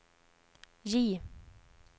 J